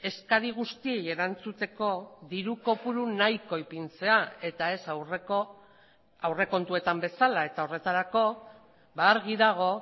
eskari guztiei erantzuteko diru kopuru nahiko ipintzea eta ez aurreko aurrekontuetan bezala eta horretarako argi dago